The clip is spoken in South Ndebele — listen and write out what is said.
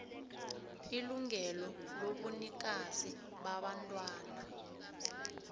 ilungelo lobunikazi babantwana